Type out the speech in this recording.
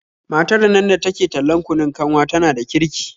Matar nan da ke tallan kunun kanwa tana da kirki